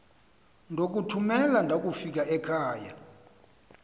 ndokuthumela ndakufika ekhava